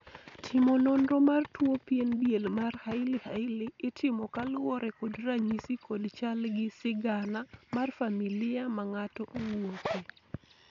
timo nonro mar tuo pien diel mar hailey hailey itimo kaluwore kod ranyisi kod chal gi sigana mar familia ma ng'ato owuoke